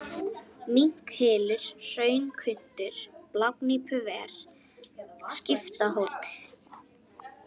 Minkhylur, Hraunkuntur, Blágnípuver, Skiptahóll